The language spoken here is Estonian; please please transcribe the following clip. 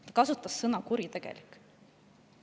Ta kasutas sõna "kuritegelik".